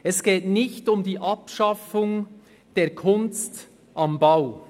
– Es geht nicht um die Abschaffung der «Kunst am Bau».